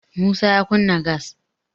musa ya kunna gas